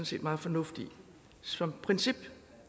set meget fornuft i som princip